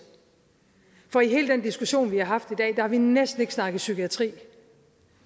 for i hele den diskussion vi har haft i dag har vi næsten ikke snakket psykiatri